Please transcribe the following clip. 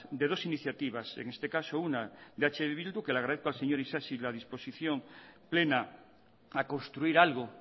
de dos iniciativas en este caso una de eh bildu que le agradezco al señor isasi la disposición plena a construir algo